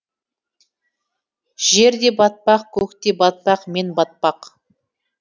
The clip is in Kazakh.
жер де батпақ көк те батпақ мен батпақ